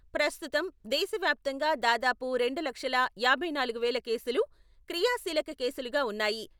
ప్రస్తుతం దేశవ్యాప్తంగా దాదాపు రెండు లక్షల యాభై నాలుగు వేల కేసులు క్రియాశీలక కేసులుగా ఉన్నాయి.